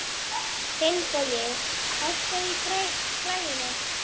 Finnbogi, hækkaðu í græjunum.